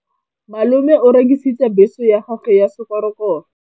Malome o rekisitse bese ya gagwe ya sekgorokgoro.